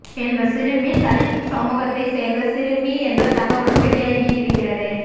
இந்தச் சிறுமி தலித் சமூகத்தை சேர்ந்த சிறுமி என்ற தகவலும் வெளியாகி இருக்கிறது